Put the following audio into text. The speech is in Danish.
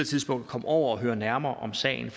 tidspunkt at komme over og høre nærmere om sagen